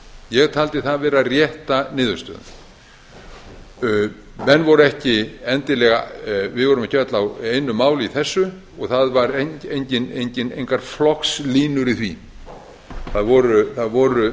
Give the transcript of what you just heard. ég taldi það vera rétta niðurstöðu við vorum ekki öll á einu máli í þessu og það voru engar flokkslínur í því það voru